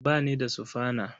Ba ni da sufana.